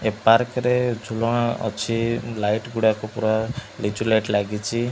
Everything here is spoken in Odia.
ଏ ପାର୍କ ରେ ଝୁଲଣା ଅଛି। ଲାଇଟ ଗୁଡ଼ାକ ପୁରା ଲିଚୁଲାଇଟ ଲାଗିଚି।